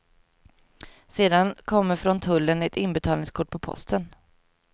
Sedan kommer från tullen ett inbetalningskort på posten.